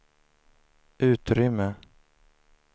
utrymme